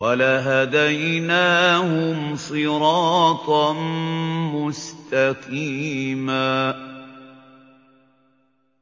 وَلَهَدَيْنَاهُمْ صِرَاطًا مُّسْتَقِيمًا